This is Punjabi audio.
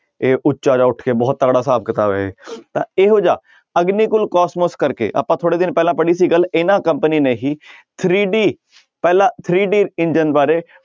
ਇਹ ਉੱਚਾ ਜਿਹਾ ਉੱਠ ਕੇ ਬਹੁਤ ਤਕੜਾ ਹਿਸਾਬ ਕਿਤਾਬ ਇਹ ਤਾਂ ਇਹੋ ਜਿਹਾ ਅਗਨੀਕੁਲ ਕੋਸਮੋਸ ਕਰਕੇ, ਆਪਾਂ ਥੋੜ੍ਹੇ ਦਿਨ ਪਹਿਲਾਂ ਪੜ੍ਹੀ ਸੀ ਗੱਲ ਇਹਨਾਂ company ਨੇ ਹੀ three D ਪਹਿਲਾ three D ਇੰਜਨ ਬਾਰੇ